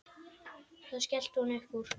Þá skellti hún upp úr.